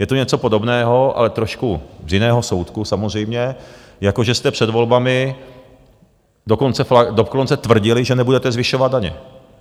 Je to něco podobného, ale trošku z jiného soudku samozřejmě, jako že jste před volbami dokonce tvrdili, že nebudete zvyšovat daně.